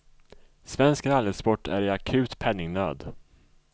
Svensk rallysport är i akut penningnöd.